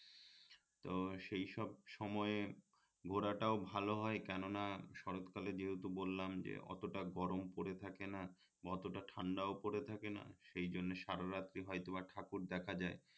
তো সেই সব সময়ে ঘোরাটাও ভাল হয় কেননা শরৎ কালে যেহেতু বললাম যে অতটা গরম পরে থাকে না অতটা ঠান্ডাও পরে থাকে না সেই জন্যে সারা রাত হয়ত বা ঠাকুর দেখা যায়